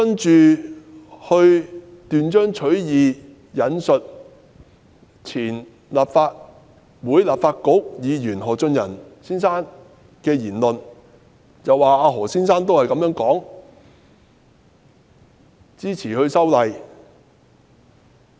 然後，她斷章取義地引述前立法局議員何俊仁的言論，指何俊仁亦表示支持修例。